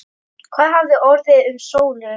Hvað hafði orðið um Sólu?